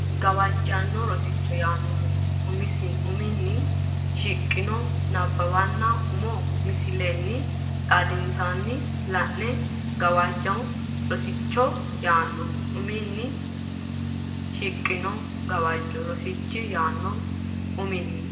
Gawajjanno Rosicho yaano uminni shiqqino nabbabbinanni umo misilenna xaadissinanni la e Gawajjanno Rosicho yaano uminni shiqqino Gawajjanno Rosicho yaano uminni.